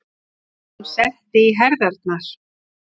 Hún setti í herðarnar.